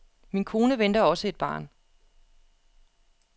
Min kone venter også et barn.